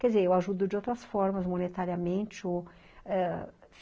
Quer dizer, eu ajudo de outras formas, monetariamente. Ou, ãh